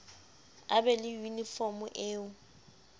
a be le yunifomo eo